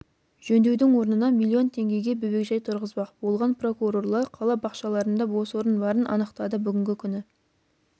жөндеудің орнына миллион теңгеге бөбекжай тұрғызбақ болған прокурорлар қала бақшаларында бос орын барын анықтады бүгінгі күні